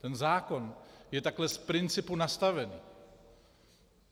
Ten zákon je takhle z principu nastaven.